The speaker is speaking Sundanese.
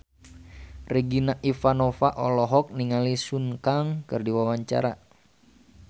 Regina Ivanova olohok ningali Sun Kang keur diwawancara